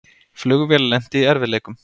Flugvél lenti í erfiðleikum